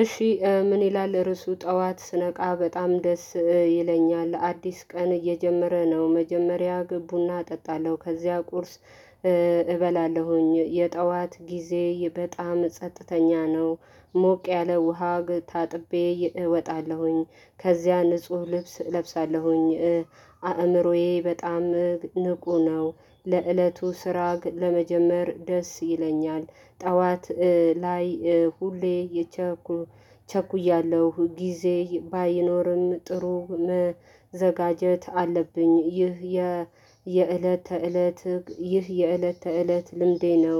እሺ ምን ይላል ርዕሱ ጠዋት ስነቃ በጣም ደስ ይለኛል አዲስ ቀን እየጀመረ ነው መጀመሪያ ቡና እጠጣለሁ ከዚያ ቁርስ እበላለሁኝ የጠዋት ጊዜ በጣም ጸጥተኛ ነው። ሞቅ ያለ ውሃ ታጥቤ እወጣለሁኝ ከዚያ ንጹህ ልብስ እለብሳለሁኝ። አእምሮዬ በጣም ንቁ ነው ለእለቱ ስራ ለመጀመር ደስ ይለኛል። ጠዋት ላይ ሁሌ የቸኩ ቸኩያለሁ ጊዜ ባይኖርም ጥሩ መዘጋጀት አለብኝ። ይህ የ የዕለተ ተእለት ይህ የእለት ተእለት ልምዴ ነው።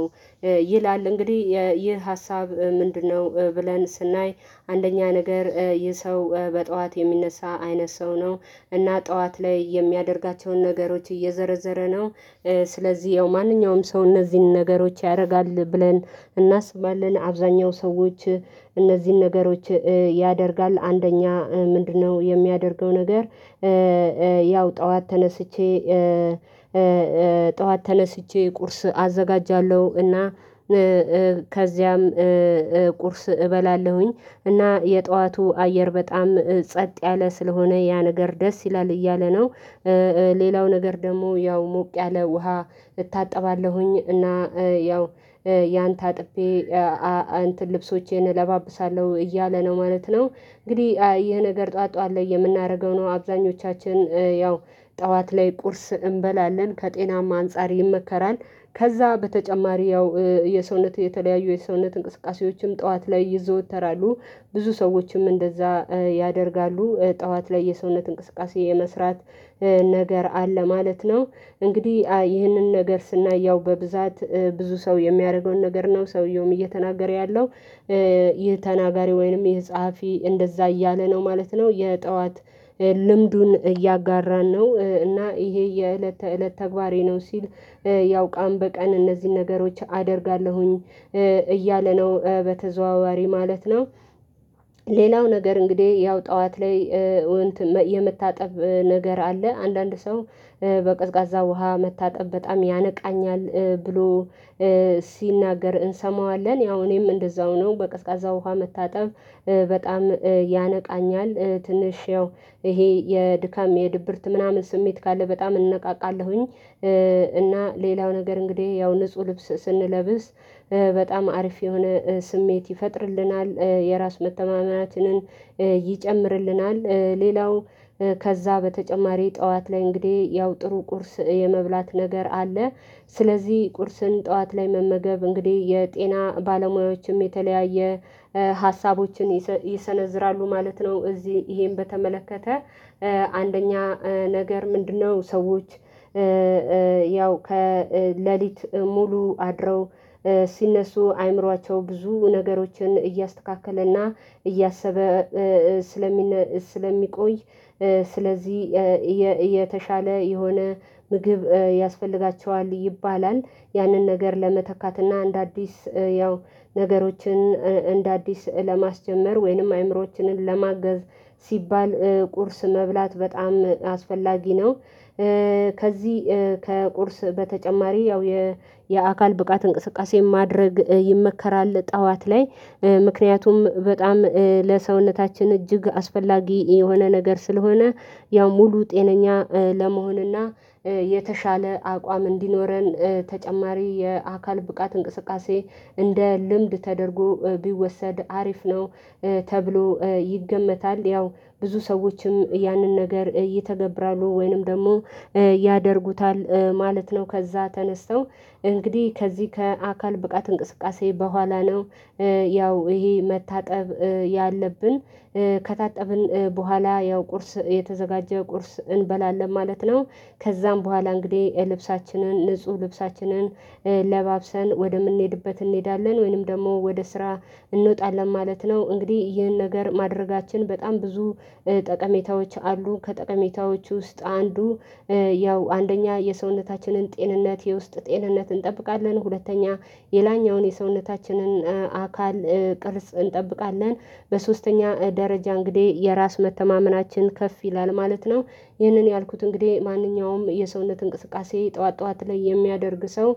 ይላል እንግዲህ ይህ ሀሳብ ምንድነው? ብለን ስናይ አንደኛ ነገር ይህ ሰው በጠዋት የሚነሳ አይነት ሰው ነው። እና ጠዋት ላይ የሚያደርጋቸውን ነገሮች እየዘረዘረ ነው። ስለዚህ ይሀው ማንኛውም ሰው እነዚህን ነገሮች ያደርጋል ብለን እናስባለን አብዛኛው ሰዎች እነዚህን ነገሮች ያደርጋሉ። አንደኛ ምንድነው? የሚያደርገው ነገር ጠዋት ተነስቼ ጠዋት ተነስቼ ቁርስ አዘጋጃለሁ እና ከዚያም ቁርስ እበላለሁኝ። እና የጠዋቱ አየር በጣም ጸጥ ያለ ስለሆነ ያ ነገር ደስ ይላል እያለ ነው። ሌላው ነገር ደግሞ ያው ሞቅ ያለ ውሃ እታጠባለሁኝ እና ያው ያንተ ታጥቤ እንትን ልብሶቼን እለባብሳለሁ እያለ ነው ማለት ነው። እንግዲህ ይሄ ነገር ጠዋት አለ የምናደርገው ነው አብዛኞቻችን ጠዋት ላይ ቁርስ እንበላለን ከጤናማ አንፃር ይመከራል። ከዛ በተጨማሪ ያው የሰውነት የተለያዩ የሰውነት እንቅስቃሴዎችም ጠዋት ላይ ይዘወተራሉ። ብዙ ሰዎችም እንደዛ ያደርጋሉ ጠዋት ላይ የሰውነት እንቅስቃሴ የመስራት ነገር አለ ማለት ነው። እንግዲህ ይህንን ነገር ስናይ ያው በብዛት ብዙ ሰው የሚያደርገውን ነገር ነው ሰውየውም እየተናገረ ያለው። ይህ ተናጋሪ ወይንም ይህ ጸሐፊ እንደዛ እያለ ነው ማለት ነው። የጠዋት ልምዱን እያጋራን ነው እና ይሄ የእለት ተእለት ተግባሬ ነው ሲል። ያው ቀን በቀን እነዚህን ነገሮች አደርጋለሁኝ እያለ ነው በተዘዋዋሪ ማለት ነው። ሌላው ነገር እንግዲህ ያው ጠዋት ላይ እንትን የመታጠብ ነገር አለ አንዳንድ ሰው በቀዝቃዛ ውሃ መታጠብ ያነቃኛል ብሎ ሲናገር እንሰማዋለን። ያው እኔም እንደዛው ነው በቅዝቃዛ ውሃ መታጠብ በጣም ያነቃኛል ትንሽ ያው ይህ የድካም የድብርት ምናምን ስሜት ካለ በጣም እነቃቃለሁኝ። እና ሌላው ነገር እንግዲህ ያው ንጹህ ልብስ ስንለብስ በጣም አሪፍ የሆነ ስሜት ይፈጥርልናል የራስ መተማመንም ይጨምርልናል። ሌላው ከዛ በተጨማሪ ጠዋት ላይ እንግዲህ ያው ጥሩ ቁርስ የመብላት ነገር አለ። ስለዚህ ቁርስን ጠዋት ላይ መመገብ እንግዲህ የጤና ባለሙያዎችም የተለያየ ሀሳቦችን ይሰነዝራሉ ማለት ነው። እዚህ ይሄን በተመለከተ አንደኛ ነገር ምንድነው? ሰዎች ያው ከሌሊት ሙሉ አድረው ሲነሱ አእምሮአቸው ብዙ ነገሮችን እያስተካከለና እያሰበ ስለሚቆይ ስለዚህ የተሻለ የሆነ ምግብ ያስፈልጋቸዋል ይባላል ያንን ነገር ለመተካት እና እንደ አዲስ ያው ነገሮችን እንደ አዲስ ለማስጀመር ወይንም አእምሮአችንን ለማገዝ ሲባል ቁርስ መብላት በጣም አስፈላጊ ነው። ከዚህ ከቁርስ በተጨማሪ ያው የአካል ብቃት እንቅስቃሴ ማድረግ ይመከራል ጠዋት ላይ ምክንያቱም በጣም ለሰውነታችን እጅግ አስፈላጊ የሆነ ነገር ስለሆነ ያው ሙሉ ጤነኛ ለመሆንና የተሻለ አቋም እንዲኖረን ተጨማሪ የአካል ብቃት እንቅስቃሴ እንደ ልምድ ተደርጎ ቢወሰድ አሪፍ ነው። ተብሎ ይገመታል ያው ብዙ ሰዎችም ያንን ነገር ይተገብራሉ ወይንም ደግሞ ያደርጉታል ማለት ነው። ከዛ ተነስተው እንግዲህ ከዚህ ከአካል ብቃት እንቅስቃሴ በኋላ ነው ያው ይሄ መታጠብ ያለብን ከታጠብን በኋላ ያው ቁርስ የተዘጋጀ ቁርስ እንበላለን ማለት ነው። ከዛም በኋላ እንግዲህ ልብሳችንን ንጹህ ልብሳችንን ለባብሰን ወደምንሄድበት እንሄዳለን ወይንም ደግሞ ወደ ስራ እንወጣለን ማለት ነው። እንግዲህ ይህን ነገር ማድረጋችን በጣም ብዙ ጠቀሜታዎች አሉ። ከጠቀሜታዎች ውስጥ አንዱ ያው አንደኛ የሰውነታችንን ጤንነት የውስጥ ጤንነት እንጠብቃለን ሁለተኛ የላኛውን የሰውነታችንን አካል ቅርጽ እንጠብቃለን። በሶስተኛ ደረጃ እንግዲህ የራስ መተማመናችን ከፍ ይላል ማለት ነው። ይህንን ያልኩት እንግዲህ ማንኛውም የሰውነት እንቅስቃሴ ጠዋት ጠዋት ላይ የሚያደርግ ሰው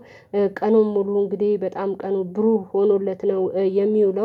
ቀኑን ሙሉ እንግዲህ በጣም ቀኑ ብሩህ ሆኖለት ነው የሚውለው